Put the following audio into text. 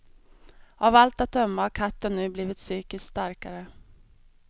Av allt att döma har katten nu blivit psykiskt starkare.